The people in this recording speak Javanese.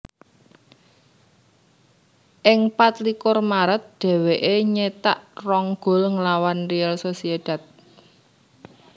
Ing pat likur Maret dèwèké nyétak rong gol nglawan Real Sociedad